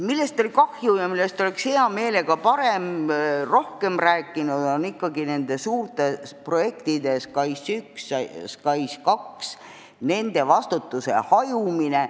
Millest oli kahju ja millest oleks hea meelega pigem rohkem rääkinud, on suurte projektide SKAIS1 ja SKAIS2 kohta vastutuse hajumine.